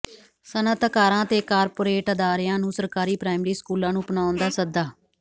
ਸਨਅਤਕਾਰਾਂ ਤੇ ਕਾਰਪੋਰੇਟ ਅਦਾਰਿਆਂ ਨੂੰ ਸਰਕਾਰੀ ਪ੍ਰਾਇਮਰੀ ਸਕੂਲਾਂ ਨੂੰ ਅਪਣਾਉਣ ਦਾ ਸੱਦਾ